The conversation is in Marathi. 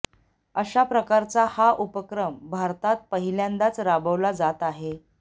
अशा प्रकारचा हा उपक्रम भारतात पहिल्यांदाच राबविला जात आहे